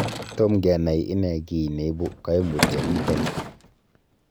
Tom kenai ine kiy neibu koimutioniton.